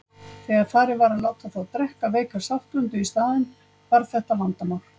Þegar farið var að láta þá drekka veika saltblöndu í staðinn hvarf þetta vandamál.